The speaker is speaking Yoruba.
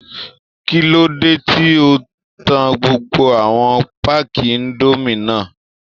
Kí ló dé tí o ta gbogbo àwọn páàkì indomie náà?